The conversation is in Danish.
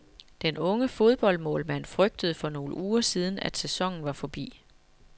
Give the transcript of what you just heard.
Den unge fodboldmålmand frygtede for nogle uger siden, at sæsonen var forbi.